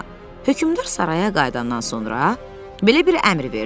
Hökmdar saraya qayıdandan sonra belə bir əmr verdi.